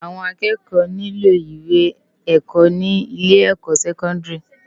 Awòn àkëkò niló iwé èkò ni ilé èkò sèkòndári